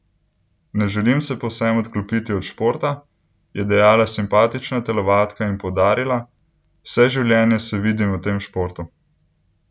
Ne želim se povsem odklopiti od športa," je dejala simpatična telovadka in poudarila: "Vse življenje se vidim v tem športu.